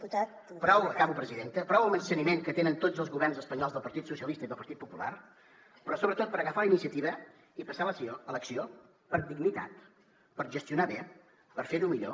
prou acabo presidenta al menysteniment que tenen tots els governs espanyols del partit socialista i del partit popular però sobretot per agafar la iniciativa i passar a l’acció per dignitat per gestionar bé per fer ho millor